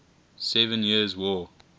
seven years war